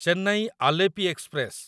Chennai Alleppey express